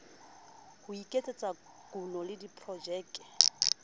ho iketsetsa kuno le diprojeke